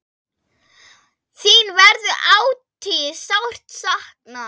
Þín verður ætíð sárt saknað.